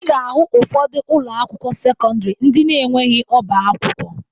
Ị ga-ahụ ụfọdụ ụlọakwụkwọ sekọndịrị ndị na-enweghi ọbaakwụkwọ